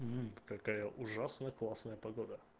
какая ужасная классная погода